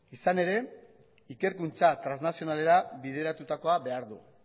izan ere ikerkuntza traslazionalera bideratutakoa behar du